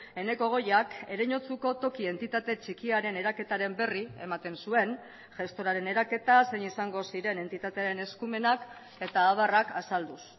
eneko goiak ereñotzuko toki entitate txikiaren eraketaren berri ematen zuen gestoraren eraketa zein izango ziren entitatearen eskumenak eta abarrak azalduz